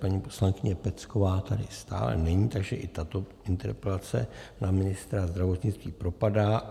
Paní poslankyně Pecková tady stále není, takže i tato interpelace na ministra zdravotnictví propadá.